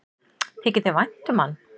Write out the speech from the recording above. Þykir þér vænt um hann?